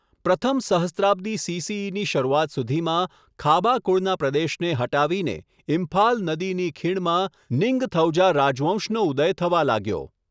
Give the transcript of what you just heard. પ્રથમ સહસ્ત્રાબ્દી સી.સી.ઈ.ની શરૂઆત સુધીમાં, ખાબા કુળના પ્રદેશને હટાવીને, ઇમ્ફાલ નદીની ખીણમાં નિંગથૌજા રાજવંશનો ઉદય થવા લાગ્યો.